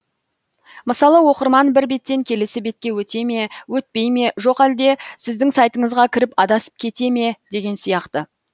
мысалы оқырман бір беттен келесі бетке өте ме өтпей ме жоқ әлде сіздің сайтыңызға кіріп адасып кете ме деген сияқты